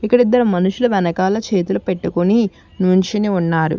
ఇక్కడ ఇద్దరు మనుషులు వెనకాల చేతులు పెట్టుకుని నించుని ఉన్నారు.